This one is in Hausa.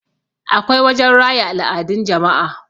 akwai wajen raya al'adun jama'a